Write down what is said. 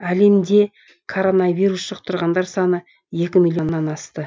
әлемде коронавирус жұқтырғандар саны екі миллионнан асты